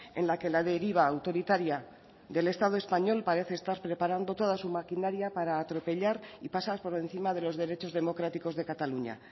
en la que la deriva autoritaria del estado español parece estar preparando toda su maquinaria para atropellar y pasar por encima de los derechos democráticos de cataluña